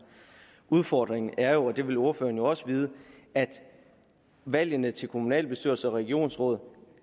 udfordringen er jo og det vil ordføreren også vide at valgene til kommunalbestyrelser og regionsråd